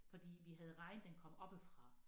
Fordi vi havde regn den kom oppefra